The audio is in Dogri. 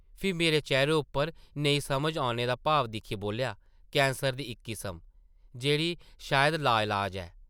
फ्ही मेरे चेह्रे उप्पर नेईं समझ औने दा भाव दिक्खियै बोल्लेआ, ‘‘कैंसर दी इक किस्म, जेह्ड़ी शायद ला-इलाज ऐ ।’’